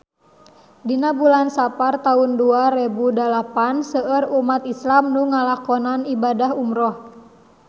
Dina bulan Sapar taun dua rebu dalapan seueur umat islam nu ngalakonan ibadah umrah